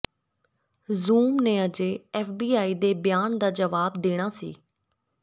zoom ਨੇ ਅਜੇ FBI ਦੇ ਬਿਆਨ ਦਾ ਜਵਾਬ ਦੇਣਾ ਸੀ